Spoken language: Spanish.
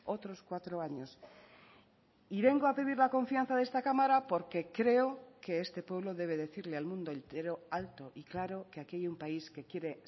otros cuatro años y vengo a pedir la confianza de esta cámara porque creo que este pueblo debe decirle al mundo entero alto y claro que aquí hay un país que quiere